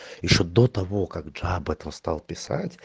ещё до того как джа об этом стал писать